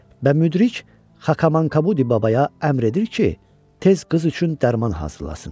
Və müdrik Xakamankabudi babaya əmr edir ki, tez qız üçün dərman hazırlasın.